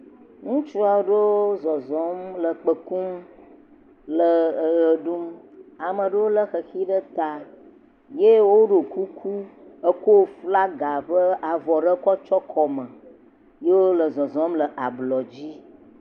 Ŋutsu aɖewo zɔzɔm le kpe kum le eʋe ɖum. Ame aɖewo le xexi ɖe ta eye woɖo kuku eko flaga ƒe avɔ aɖe kɔ tsɔ kɔme eye wole zɔzɔm le ablɔdzi.